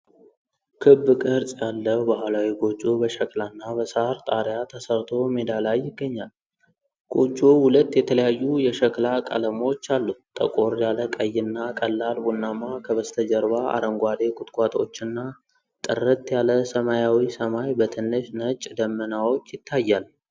ክብ ቅርጽ ያለው ባህላዊ ጎጆ በሸክላና በሳር ጣሪያ ተሠርቶ በሜዳ ላይ ይገኛል። ጎጆው ሁለት የተለያዩ የሸክላ ቀለሞች አሉት፤ ጠቆር ያለ ቀይና ቀላል ቡናማ። ከበስተጀርባ አረንጓዴ ቁጥቋጦዎችና ጥርት ያለ ሰማያዊ ሰማይ በትንሽ ነጭ ደመናዎች ይታያል።